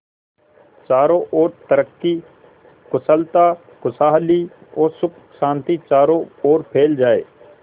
चारों और तरक्की कुशलता खुशहाली और सुख शांति चारों ओर फैल जाए